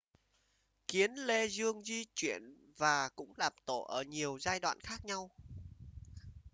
kiến lê dương di chuyển và cũng làm tổ ở nhiều giai đoạn khác nhau